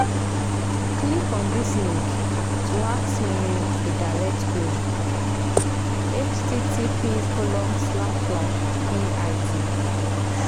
Click on this link to ask me a DIRECT QUERY: http://bit